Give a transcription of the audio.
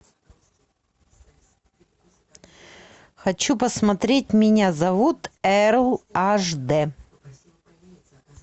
хочу посмотреть меня зовут эрл аш д